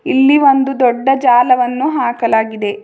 ಇಲ್ಲಿ ಒಂದು ದೊಡ್ಡ ಜಾಲವನ್ನು ಹಾಕಲಾಗಿದೆ.